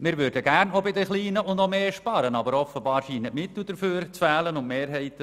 Wir würden gerne auch bei den Kleinen noch mehr entlasten, aber offenbar fehlen dafür die Mittel und die Mehrheiten.